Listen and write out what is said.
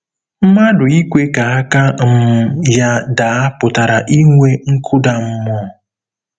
Mmadụ ikwe ka aka um ya daa pụtara inwe nkụda mmụọ.